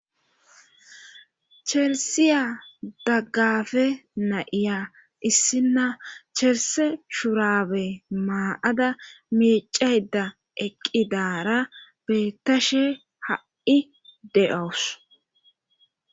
cherisiya daggafe na'iya issinna cherse shurabe maaada micayda eqqidara bettashe ha7i de7owus